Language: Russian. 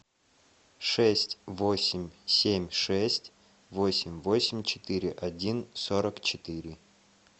шесть восемь семь шесть восемь восемь четыре один сорок четыре